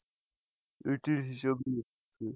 এটির হিসাব নেই।